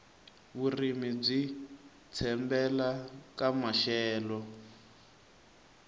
vurimi byi tshembele ka maxelo